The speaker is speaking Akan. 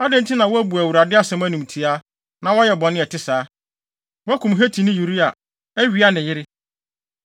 Adɛn nti na woabu Awurade asɛm animtiaa, na woayɛ bɔne a ɛte saa? Woakum Hetini Uria, awia ne yere.